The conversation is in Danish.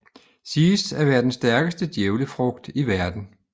Siges at være den stærkeste djævlefrugt i verden